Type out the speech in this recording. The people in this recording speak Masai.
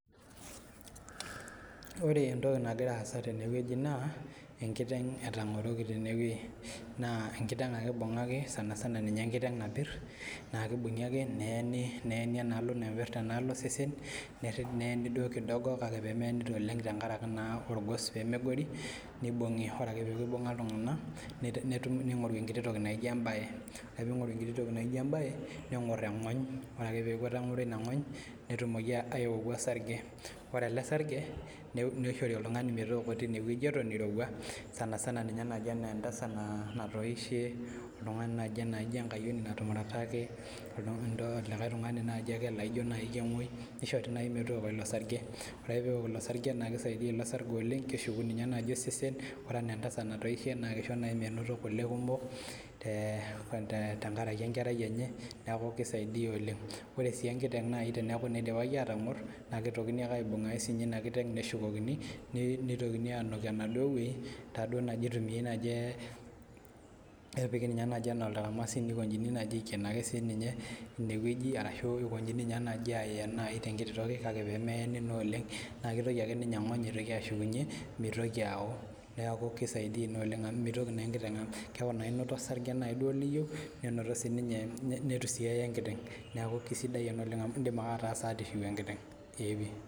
Ore entoki nagira aasa tene wueji naa enkiteng' etang'oroki tene wueji naa enkiteng' ake ibung'aki sanasana ninye enkiteng napirr naa kibung'i ake neeni, Neeni enaalo naipirrta enaalo osesen nerri neeni duo kidogo kake pemeeni duo oleng' tenkaraki naa orgos pemegori nibung'i ore ake peeku ibung'a iltung'anak netumi ning'oru enkiti toki naijo embaye ore ping'oru enkiti toki naijo embaye neng'orr eng'ony ore ake peeku etang'oro ina ng'ony netumoki aioku osarge ore ele sarge neishori oltung'ani metooko tinewueji eton eirowua sanasana ninye naaji enaa entasat natoishe oltung'ani naaji naijo enkayioni natumurataki oltung'ani duo likae tung'ani naaji ake laijo naaji kemuoi nishori naaji metooko ilo sarge ore ake pewok ilo sarge naa kisaidia ilo sarge oleng' keshuku ninye naaji osesen ore enaa entasat natoishe naa kisho naaji menoto kule kumok te tenkaraki enkerai enye neku kisaidia oleng' ore sii enkiteng' naaji teneeku naa idipaki atang'orr naa kitokini ake aibung' ake sininye ina kiteng' neshukokini nei nitokini anuk enaduo wueji taduo naaji itumiae naaji epiki ninye naaji enaa oltaramasi nikonjini naaji aiken ake sininye ewueji arashu ikonjini ninye naaji ayen naaji tenkiti toki kake pemeyeni naa oleng' naa kitoki ake ninye eng'ony aitoki ashukunyie mitoki awo neku kisaidia ina oleng' amu mitoki naa enkiteng' keku naa inoto osarge naiduo liyieu nenoto sininye netu sii eye enkiteng' neku kisidai ena oleng' amu indim ake ataasa ata ishiu enkiteng'.